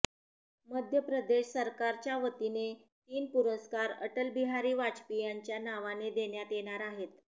मध्य प्रदेश सरकारच्यावतीने तीन पुरस्कार अटलबिहारी वाजपेयींच्या नावाने देण्यात येणार आहेत